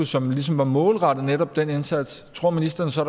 som ligesom var målrettet netop den indsats tror ministeren så